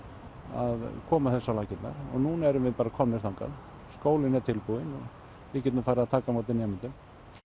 að koma þessu á laggirnar og núna erum við bara komin þangað skólinn er tilbúinn og við getum farið að taka á móti nemendum